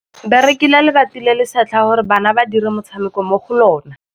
Ba rekile lebati le le setlha gore bana ba dire motshameko mo go lona.